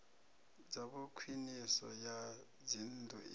dzavho khwiniso ya dzinnḓu i